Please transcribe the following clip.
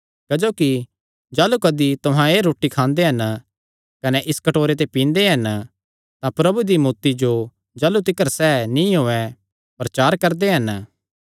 क्जोकि जाह़लू कदी तुहां एह़ रोटी खांदे कने इस कटोरे ते पींदे हन तां प्रभु दी मौत्ती जो जाह़लू तिकर सैह़ नीं औयें प्रचार करदे हन